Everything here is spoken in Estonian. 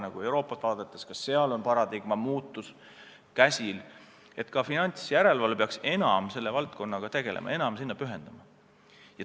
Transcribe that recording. Kui kogu Euroopat vaadata, siis näeme, et kõikjal on paradigma muutus käes: ka finantsjärelevalve peaks enam selle valdkonnaga tegelema, enam sellele pühenduma.